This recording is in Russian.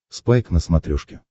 спайк на смотрешке